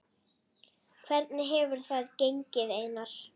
Hvernig hefur þetta gengið Einar?